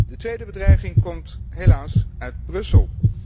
De tweede bedreiging komt helaas uit Brussel.